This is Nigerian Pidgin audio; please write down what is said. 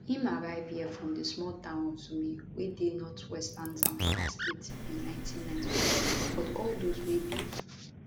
im arrive here from di small town of zurmi wey dey northwestern zamfara state in 1994 but all dose wey be